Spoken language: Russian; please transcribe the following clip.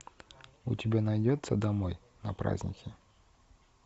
у тебя найдется домой на праздники